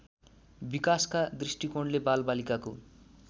विकासका दृष्टिकोणले बालबालिकाको